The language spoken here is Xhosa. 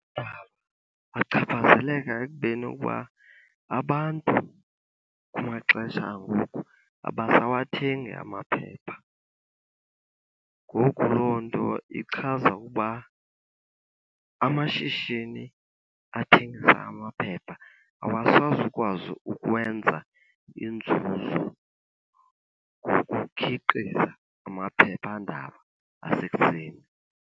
Achaphazeleka ekubeni uba abantu kumaxesha angoku abasawathengi amaphepha. Ngoku loo nto ichaza ukuba amashishini athengisa amaphepha awasazukwazi ukwenza inzuzo ngokukhiqiza amaphephandaba asekuseni.